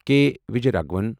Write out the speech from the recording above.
کے Vijay Raghavan